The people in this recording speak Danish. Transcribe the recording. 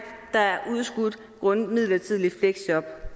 der er udskudt grundet midlertidigt fleksjob